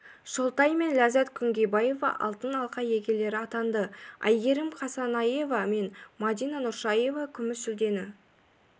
шолтай мен ләззат күнгейбаева алтын алқа иегерлері атанды әйгерім қасенаева мен мадина нұршаева күміс жүлдені